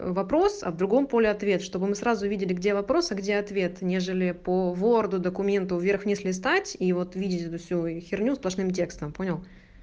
вопрос а в другом поле ответ чтобы мы сразу увидели где вопрос а где ответ нежели по ворду документу вверх вниз листать и вот видеть эту всю херню сплошным текстом понял